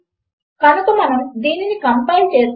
కనుక బహుశా మనకు ట్రూ అని అవుట్ పుట్ రావచ్చును